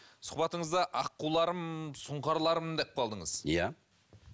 сұхбатыңызда аққуларым сұңқарларым деп қалдыңыз иә